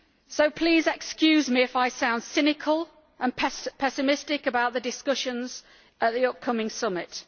So please excuse me if I sound cynical and pessimistic about the discussions at the upcoming summit.